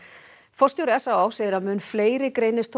forstjóri s á á segir þó að mun fleiri greinist